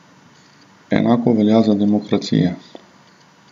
Enako velja za demokracije.